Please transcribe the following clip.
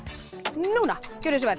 núna gjörið svo vel